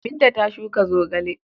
Binta ta shuka zogale.